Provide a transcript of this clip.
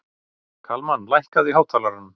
Kalmann, lækkaðu í hátalaranum.